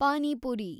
pani puri